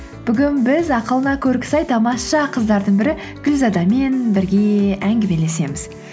бүгін біз ақылына көркі сай тамаша қыздардың бірі гүлзадамен бірге әңгімелесеміз